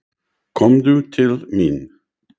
Komdu til mín.